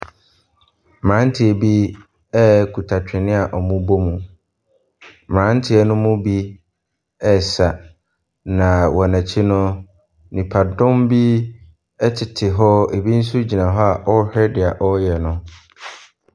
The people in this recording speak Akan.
Mmeranteɛ bi kita twene wɔrebɔ mu, mmeranteɛ ne mu bi ɛresa na wɔn akyi no, nnipadɔm bi tete hɔ, bi nso gyina hɔ a wɔrehwɛ deɛ wɔreyɛ no.